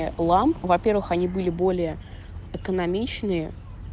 ламп во первых они были более экономичные